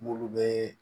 N'olu bɛ